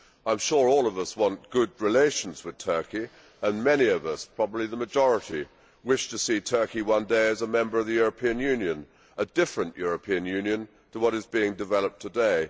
I am sure all of us want good relations with Turkey and many of us, probably the majority, wish to see Turkey one day as a member of the European Union, a different European Union to what is being developed today.